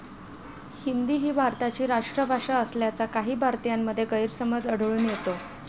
हिंदी ही भारताची राष्ट्रभाषा असल्याचा काही भारतीयांमध्ये गैरसमज आढळून येतो.